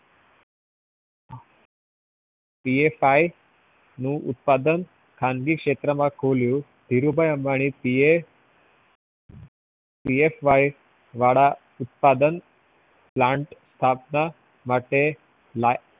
PSI નું ઉત્પાદન ખાનગી શેક્ત્ર માં ખોલ્યું ધીરુભાઈ અંબાની PSY વાળા ઉત્પાદન plant સ્થાપના લાવવા માટે